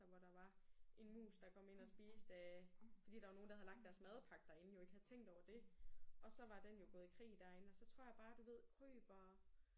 Hvor der var en mus der kom ind og spiste af fordi der var nogen der havde lagt deres madpakke derinde jo ikke havde tænkt over det og så var den jo gået i krig derinde og så tror jeg bare du ved kryb og